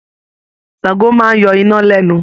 Ṣàngó máa ń yọ iná lẹ́nu